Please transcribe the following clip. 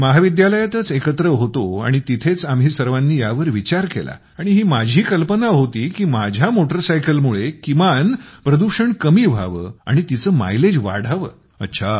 आम्ही महाविद्यालयातच एकत्र होतो आणि तिथेच आम्ही सर्वानी यावर विचार केला आणि ही माझी कल्पना होती की माझ्या मोटरसायकलमुळे किमान प्रदूषण कमी व्हावं आणि तिचं मायलेज वाढावं